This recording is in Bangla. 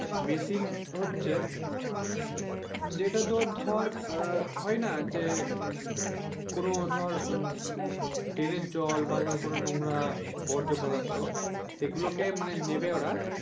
মেশিন হচ্ছে যেটা তো ধর হয়না যে কোন ধর ট্রেনের জল বা ধর কোন নোংরা বর্জপদার্থ সেগুলোকে মানে নেবে ওরা